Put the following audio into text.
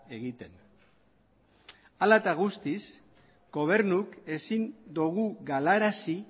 egiten hala eta guztiz gobernuk ezin dugu galarazi